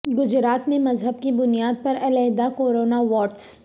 گجرات میں مذہب کی بنیاد پر علحدہ کورونا وارڈس